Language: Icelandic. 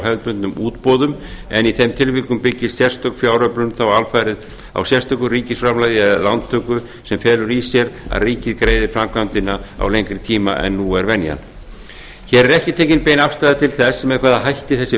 hefðbundnum útboðum en í þeim tilvikum byggist sérstök fjáröflun alfarið á sérstöku ríkisframlagi eða lántöku sem felur í sér að ríkið greiði framkvæmdina á lengri tíma en nú er venjan hér er ekki tekin bein afstaða til þess með hvaða hætti þessi